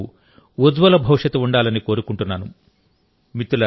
ఈ ఆటగాళ్లకు ఉజ్వల భవిష్యత్తు ఉండాలని కోరుకుంటున్నాను